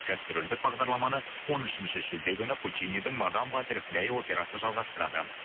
гастрольдік бағдарламаны он үшінші шілде күні пучинидің мадам батерфлай операсы жалғастырады